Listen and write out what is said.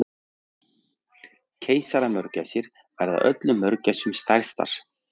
Keisaramörgæsir verða öllum mörgæsum stærstar.